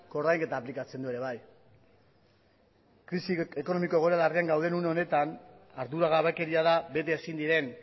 koordainketa aplikatzen du ere bai krisi ekonomiko egoera larrian gaude une honetan arduragabekeria da bete ezin diren